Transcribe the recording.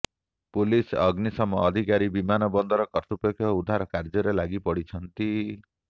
police ଅଗ୍ନିଶମ ଅଧିକାରୀ ବିମାନ ବନ୍ଦର କର୍ତ୍ତୃପକ୍ଷ ଉଦ୍ଧାର କାର୍ଯ୍ୟରେ ଲାଗି ପଡିଛନ୍ତି